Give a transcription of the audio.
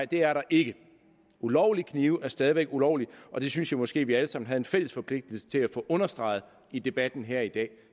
det er der ikke ulovlige knive er stadig væk ulovlige og det synes jeg måske at vi alle sammen har en fælles forpligtelse til at få understreget i debatten her i dag